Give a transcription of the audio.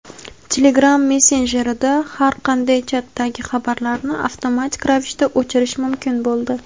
Telegram messenjerida har qanday chatdagi xabarlarni avtomatik ravishda o‘chirish mumkin bo‘ldi.